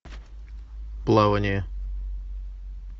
плавание